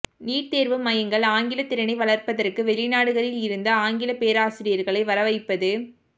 NEET தேர்வு மையங்கள் ஆங்கில திறனை வளர்ப்பதற்கு வெளிநாடுகளில் இருந்து ஆங்கில பேராசிரியர்களை வரவைப்பது